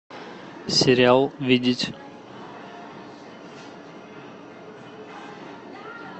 сериал видеть